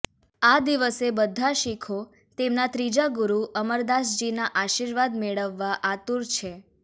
આ દિવસે બધા શીખો તેમના ત્રીજા ગુરુ અમરદાસજીના આશીર્વાદ મેળવવા આતુર છે